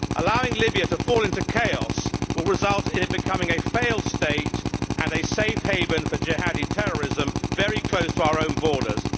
Allowing Libya to fall into chaos will result in it becoming a failed state and a safe haven for jihadi terrorism very close to our own borders.